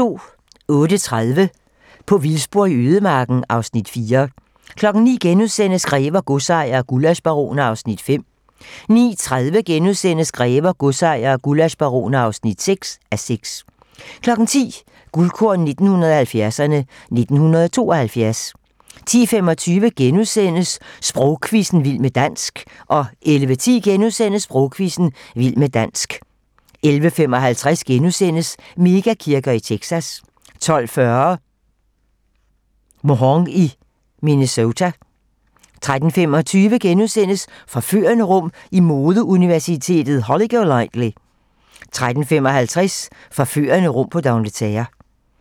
08:30: På vildspor i ødemarken (Afs. 4) 09:00: Grever, godsejere og gullaschbaroner (5:6)* 09:30: Grever, godsejere og gullaschbaroner (6:6)* 10:00: Guldkorn 1970'erne: 1972 10:25: Sprogquizzen - Vild med dansk * 11:10: Sprogquizzen - Vild med dansk * 11:55: Mega-kirker i Texas * 12:40: Mhong i Minnesota 13:25: Forførende rum i modeuniverset Holly Golightly * 13:55: Forførende rum på D'Angleterre